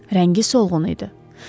Rəngi solğundu.